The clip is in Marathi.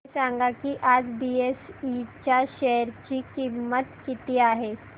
हे सांगा की आज बीएसई च्या शेअर ची किंमत किती आहे